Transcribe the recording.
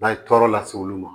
N'a ye tɔɔrɔ lase olu ma